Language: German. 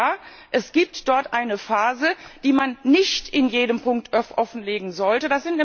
Und ja, es gibt dort eine Phase, die man nicht in jedem Punkt offenlegen sollte.